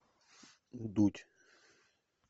дудь